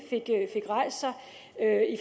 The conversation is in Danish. at